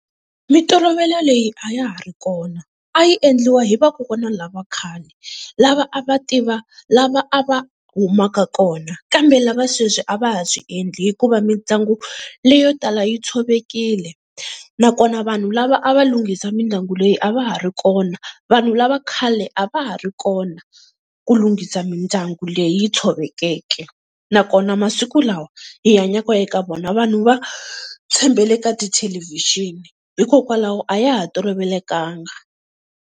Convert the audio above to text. Mintolovelo leyi a ya ha ri kona a yi endliwa hi vakokwana lava khale, lava a va tiva lava lava a va humaka kona, kambe lava sweswi a va ha swi endli hikuva mindyangu leyo tala yi tshovekile, nakona vanhu lava a va lunghisa mindyangu leyi a va ha ri kona vanhu lava khale a va ha ri kona ku lunghisa mindyangu leyi tshovekeke. Nakona masiku lawa hi hanyaka eka wona vanhu va tshembele ka tithelevhixini hikokwalaho a ya ha tolovelekanga.